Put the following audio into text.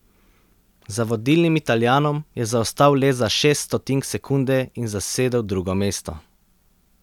Za vodilnim Italijanom je zaostal le za šest stotink sekunde in zasedel drugo mesto.